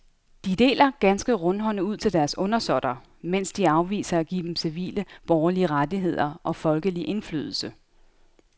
De deler ganske rundhåndet ud til deres undersåtter, mens de afviser at give dem civile borgerlige rettigheder og folkelig indflydelse.